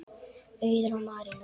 Auður og Marinó.